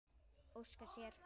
Óska sér.